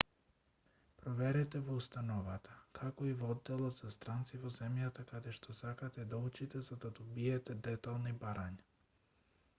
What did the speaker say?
проверете во установата како и во одделот за странци во земјата каде што сакате да учите за да добиете детални барања